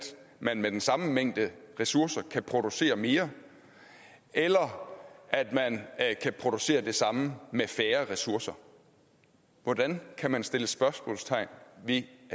man med den samme mængde ressourcer kan producere mere eller at man kan producere det samme med færre ressourcer hvordan kan man sætte spørgsmålstegn ved at